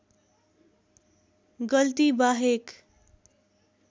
गल्ती बाहेक